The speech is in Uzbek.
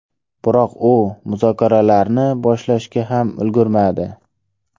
Biroq u muzokaralarni boshlashga ham ulgurmadi.